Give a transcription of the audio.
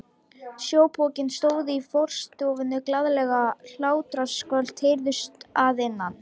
Sjópokinn stóð í forstofunni og glaðleg hlátrasköll heyrðust að innan.